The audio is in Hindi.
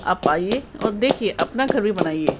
आप आइए और देखिए अपना घर भी बनाइए।